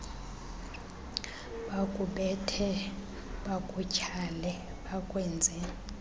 bakubethe bakutyhale bakwenze